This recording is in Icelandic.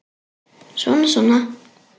Svona, svona